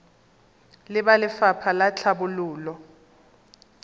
le ba lefapha la tlhabololo